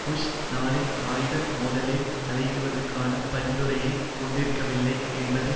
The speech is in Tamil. புஷ் நாளை ஆயுத மோதலில் தலையிடுவதற்கான பரிந்துரையைக் கொண்டிருக்கவில்லை என்பதை